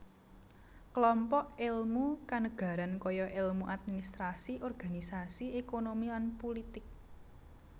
Klompok èlmu kanegaran kaya èlmu administrasi organisasi ékonomi lan pulitik